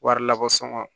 Wari lakosɔ